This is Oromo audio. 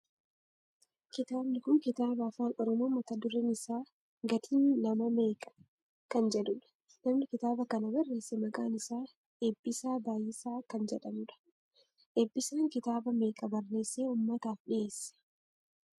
Kitaabni kun kitaaba afaan oromoo mata dureen isaa gatiin nama meeqa? Kan jedhudha. Namni kitaaba kana barreesse maqaan isaa Eebbisaa Baayisaa kan jedhamu dha. Eebbisaan kitaaba meeqa barreessee ummataaf dhiyeesse?